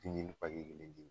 kelen di ye